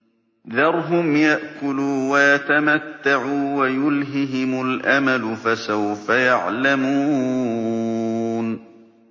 ذَرْهُمْ يَأْكُلُوا وَيَتَمَتَّعُوا وَيُلْهِهِمُ الْأَمَلُ ۖ فَسَوْفَ يَعْلَمُونَ